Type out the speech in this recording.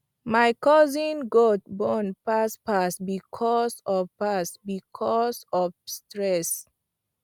my cousin goat born fast fast because of fast because of stress